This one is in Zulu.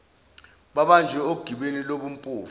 babanjwe ogibeni lobumpofu